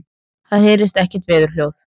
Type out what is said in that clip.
Það heyrist ekkert veðurhljóð.